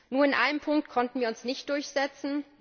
Nur in einem Punkt konnten wir uns nicht durchsetzen.